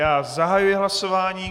Já zahajuji hlasování.